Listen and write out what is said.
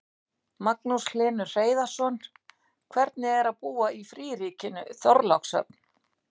Magnús Hlynur Hreiðarsson: Hvernig er að búa í fríríkinu Þorlákshöfn?